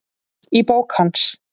Í bók hans